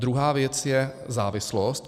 Druhá věc je závislost.